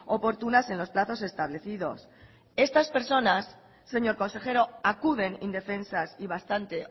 oportunas en los plazos establecidos estas personas señor consejero acuden indefensas y bastante